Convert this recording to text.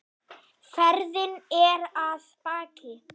Ferðin er að baki.